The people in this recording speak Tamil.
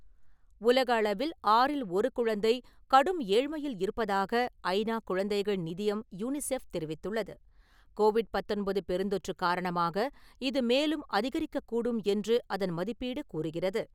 உலக அளவில் ஆறில் ஒரு குழந்தை கடும் ஏழ்மையில் இருப்பதாக ஐ நா குழந்தைகள் நிதியம் யூனிசெஃப் தெரிவித்துள்ளது. கோவிட் பத்தொன்பது பெருந்தொற்று காரணமாக இது மேலும் அதிகரிக்கக்கூடும் என்று அதன் மதிப்பீடு கூறுகிறது.